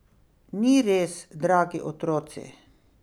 Ni res, dragi otroci!